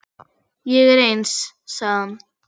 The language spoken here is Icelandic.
Ég er eins, sagði hann.